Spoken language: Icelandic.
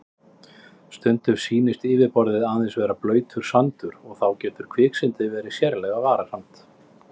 Stundum sýnist yfirborðið aðeins vera blautur sandur og þá getur kviksyndið verið sérlega varasamt.